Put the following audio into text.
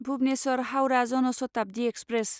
Bhubaneswar Howrah Jan Shatabdi express